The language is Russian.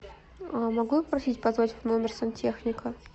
а могу я попросить позвать в номер сантехника